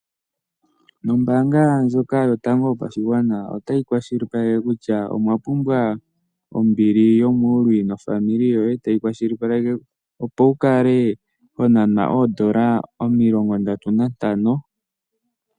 Ombaanga ndjok yotango yopashigwana otayi kwashilipaleke kutya omwa pumbwa ombili yomuuluwi nofamili yoye ,yo tayi kwashilipaleke opo wukale wa nanwa oondola omilongo ndatu nantano